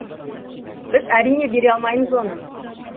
біз әрине бере алмаймыз оны